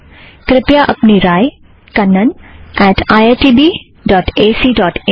कृपया अपनी राय Kannan at IIT B dot AC dot in kannaniitbacइन पर भेजें